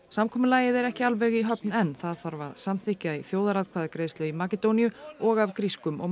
samkomulagið er ekki alveg í höfn enn það þarf að samþykkja í þjóðaratkvæðagreiðslu í Makedóníu og af grískum og